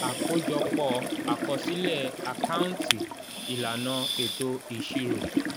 àkójọpọ́ akosile àkáǹtì ìlànà eto ìṣirò.